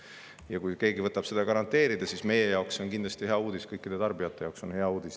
Ja kui keegi võtab seda garanteerida, siis meie jaoks see on kindlasti hea uudis, kõikide tarbijate jaoks on see hea uudis.